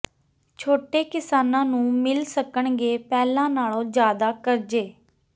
ਛੋਟੇ ਕਿਸਾਨਾਂ ਨੂੰ ਮਿਲ ਸਕਣਗੇ ਪਹਿਲਾਂ ਨਾਲੋਂ ਜ਼ਿਆਦਾ ਕਰਜ਼ੇ